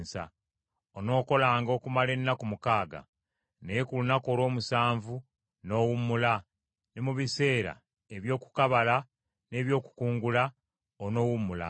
“Onookolanga okumala ennaku mukaaga, naye ku lunaku olw’omusanvu n’owummula; ne mu biseera eby’okukabala n’ebyokukungula onoowummulanga.